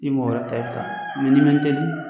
Ni mɔgɔ n'i man teli